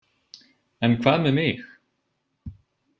En hvað með mig?